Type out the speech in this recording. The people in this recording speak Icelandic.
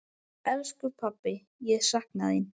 Elsku pabbi, ég sakna þín.